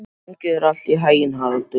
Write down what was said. Gangi þér allt í haginn, Haraldur.